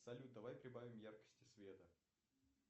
салют давай прибавим яркости света